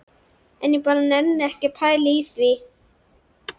En ég bara nenni ekki að pæla í því.